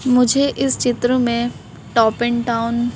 मुझे इस चित्र में टॉप एंड टाउन --